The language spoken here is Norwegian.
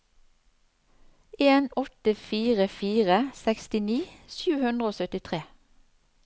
en åtte fire fire sekstini sju hundre og syttitre